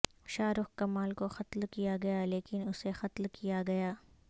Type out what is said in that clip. شارق کمال کو قتل کیا گیا لیکن اسے قتل کیا گیا